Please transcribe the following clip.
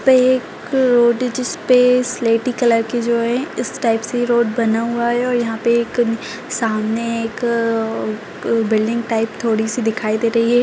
पे एक रोड जिस पे स्लेटी कलर की जो है इस टाइप से रोड बना हुआ है और यहाँ पर एक सामने एक बिल्डिंग टाइप थोड़ी-सी दिखाई दे रही है।